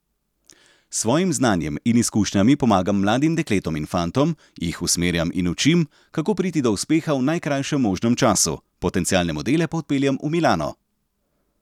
S svojim znanjem in izkušnjami pomagam mladim dekletom in fantom, jih usmerjam in učim, kako priti do uspeha v najkrajšem možnem času, potencialne modele pa odpeljem v Milano.